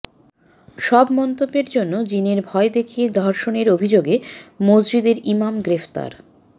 সব মন্তব্যের জন্য জিনের ভয় দেখিয়ে ধর্ষণের অভিযোগে মসজিদের ইমাম গ্রেপ্তার